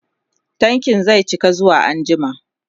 tankin zai cika zuwa anjima